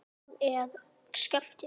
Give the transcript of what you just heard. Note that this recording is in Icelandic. Björn: Hvers vegna?